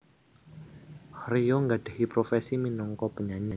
Rio nggadhahi profesi minangka penyanyi